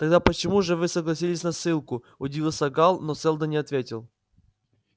тогда почему же вы согласились на ссылку удивился гаал но сэлдон не ответил